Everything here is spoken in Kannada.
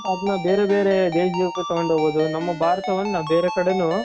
ಅದ್ನ ಬೇರೆ ಬೇರೆ ದೇಶಗಳಿಗೆ ತಗೊಂಡು ಹೋಗ್ಬಹುದು. ನಮ್ಮ ಭಾರತವನ್ನ ಬೇರೆ ಕಡೆಗೂ